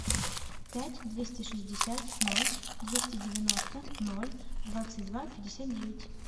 пять двести шестьдесят ноль двести девяносто ноль двадцать два пятьдесят девять